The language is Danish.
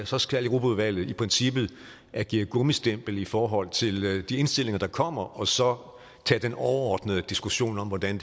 så skal europaudvalget i princippet agere gummistempel i forhold til de indstillinger der kommer og så tage den overordnede diskussion om hvordan